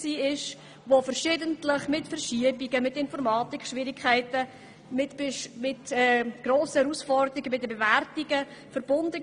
Sie war jedoch verschiedentlich mit Verschiebungen, Informatikproblemen und grossen Herausforderungen bei den Bewertungen verbunden.